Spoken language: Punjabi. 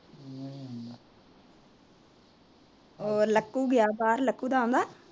ਓ ਲਕੂ ਗਿਆ ਬਾਹਰ, ਲਕੂ ਦਾ ਆਉਂਦਾ